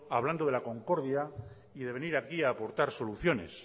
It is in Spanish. hablando de la concordia y de venir aquí a aportar soluciones